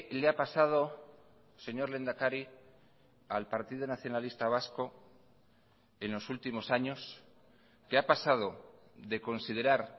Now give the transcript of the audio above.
le ha pasado señor lehendakari al partido nacionalista vasco en los últimos años que ha pasado de considerar